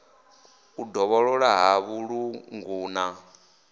u dovholola ha vhuṱungu na